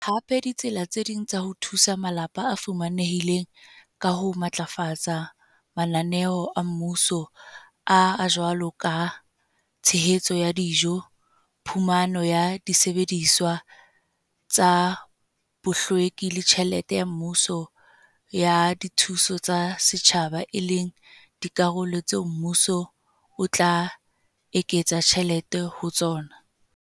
hape ditsela tse ding tsa ho thusa malapa a fumanehileng ka ho matlafatsa mananeo a mmuso a a jwalo ka a tshehetso ya dijo, phumano ya disebediswa tsa bohlweki le tjhelete ya mmuso ya dithuso tsa setjhaba e leng dikarolo tseo mmuso o tla eketsang tjhelete ho tsona.